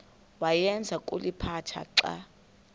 awayeza kuliphatha xa